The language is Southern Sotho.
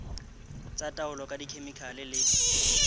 tsa taolo ka dikhemikhale le